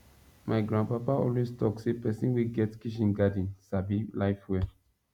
my grandpapa always talk say person wey get kitchen garden sabi life well